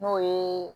N'o ye